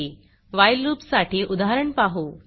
while loopवाइल loop साठी उदाहरण पाहू